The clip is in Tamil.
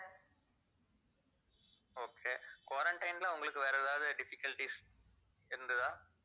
okay quarantine வேற ஏதாவது difficulties இருந்ததா